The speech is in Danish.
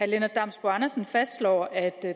lennart damsbo andersen fastslår at